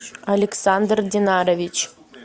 александр динарович